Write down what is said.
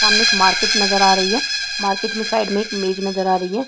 सामने एक मार्केट नज़र आ रही है मार्केट में साइड में एक मेज नज़र आ रही है।